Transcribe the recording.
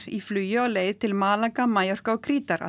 í flugi á leið til Malaga Mallorca og krítar að